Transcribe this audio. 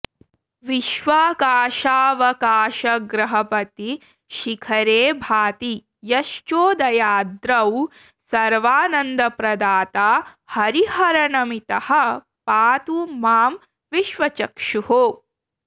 विश्वाकाशावकाशग्रहपतिशिखरे भाति यश्चोदयाद्रौ सर्वानन्दप्रदाता हरिहरनमितः पातु मां विश्वचक्षुः